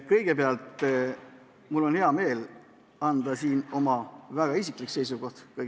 Kõigepealt, mul on hea meel öelda siin välja oma väga isiklik seisukoht.